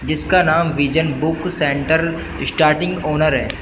जिसका नाम vision book centre starting owner है।